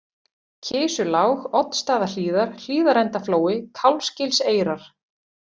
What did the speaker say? Kisulág, Oddsstaðahlíðar, Hlíðarendaflói, Kálfsgilseyrar